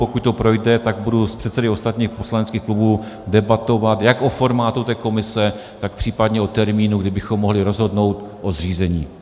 Pokud to projde, tak budu s předsedy ostatních poslaneckých klubů debatovat jak o formátu komise, tak případně o termínu, kdy bychom mohli rozhodnout o zřízení.